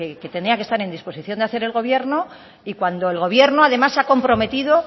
que tenía que estar en disposición de hacer el gobierno y cuando el gobierno además se ha comprometido